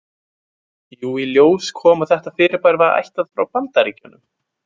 Jú, í ljós kom að þetta fyrirbæri var ættað frá Bandaríkjunum.